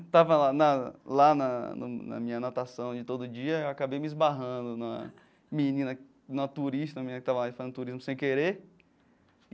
Estava na lá na no na minha natação de todo dia e eu acabei me esbarrando na menina numa turista minha que estava lá fazendo turismo sem querer.